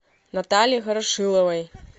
наталье хорошиловой